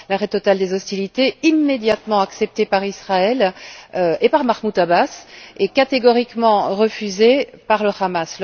L'arrêt total des hostilités, immédiatement accepté par Israël et par Mahmoud Abbas est catégoriquement refusé par le Hamas.